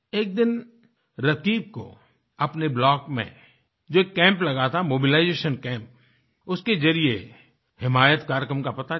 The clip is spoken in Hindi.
एक दिनरकीब को अपने ब्लॉक में जो एक कैंप लगा था मोबिलाइजेशन कैम्प उसके जरिये हिमायत कार्यक्रम का पता चला